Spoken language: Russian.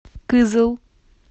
кызыл